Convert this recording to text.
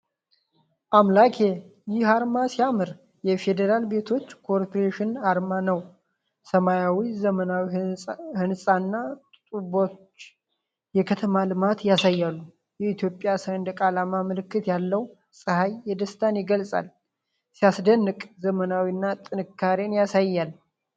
አምላኬ! ይህ አርማ ሲያምር! የፌደራል ቤቶች ኮርፖሬሽን አርማ ነው። ሰማያዊው ዘመናዊ ሕንፃና ጡቦች የከተማ ልማትን ያሳያሉ። የኢትዮጵያ ሰንደቅ ዓላማ ምልክት ያለው ፀሐይ ደስታን ይገልጻል። ሲያስደንቅ! ዘመናዊነትንና ጥንካሬን ያሳያል።